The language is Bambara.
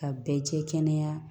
Ka bɛɛ jɛ kɛnɛya